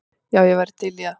Já, ég væri til í það.